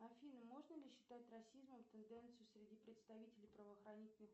афина можно ли считать расизмом тенденцию среди представителей правоохранительных